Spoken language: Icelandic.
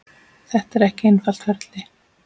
Þetta er ekki einfalt ferli.